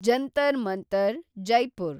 Jantar Mantar, Jaipur